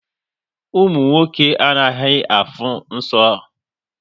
Ụmụ nwoke anaghị afụ nsọ